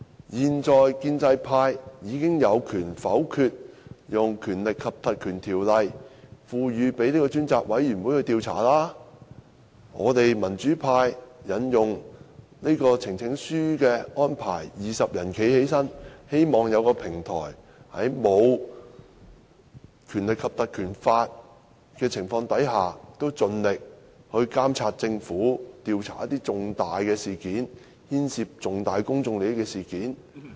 現在建制派已經有權否決運用《立法會條例》賦權專責委員會調查，我們民主派以提交呈請書的方式，由20位議員站立，希望有一個平台，在無法引用《立法會條例》的情況下，盡力監察政府，調查一些牽涉重大公眾利益的事件。